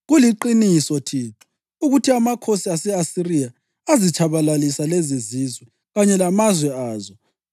Kuliqiniso, Thixo, ukuthi amakhosi ase-Asiriya azitshabalalisa lezizizwe kanye lamazwe azo.